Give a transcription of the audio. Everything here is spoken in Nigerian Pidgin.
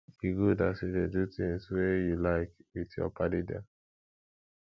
e good as you dey do tins wey you like wit your paddy dem